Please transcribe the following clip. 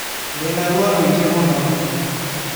Ndĩ na ruo rũingĩ mũno.